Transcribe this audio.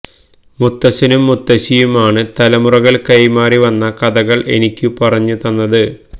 മുത്തശ്ശനും മുത്തശ്ശിയും ആണ് തലമുറകള് കൈ മാറി വന്ന കഥകള് എനിക്ക് പറഞ്ഞു തന്നത്